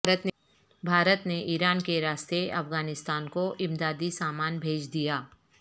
بھارت نے ایران کے راستے افغانستان کو امدادی سامان بھیج دیا